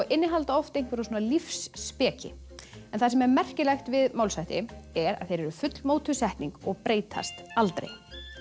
innihalda oft einhverja lífsspeki það sem er merkilegt við málshætti er að þeir eru fullmótuð setning og breytast aldrei